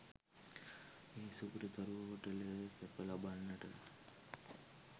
මේ සුපිරි තරු හෝටලයේ සැප ලබන්නට